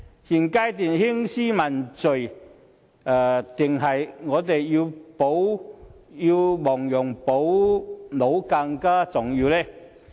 現階段興師問罪重要，還是我們要亡羊補牢更重要呢？